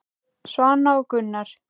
Svana og Gunnar.